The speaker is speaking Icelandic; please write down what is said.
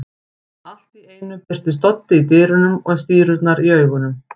Allt í einu birtist Doddi í dyrunum með stírurnar í augunum.